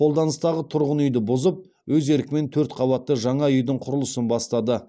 қолданыстағы тұрғын үйді бұзып өз еркімен төрт қабатты жаңа үйдің құрылысын бастады